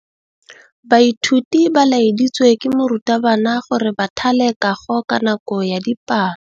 Baithuti ba laeditswe ke morutabana gore ba thale kagô ka nako ya dipalô.